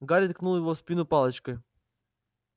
гарри ткнул его в спину палочкой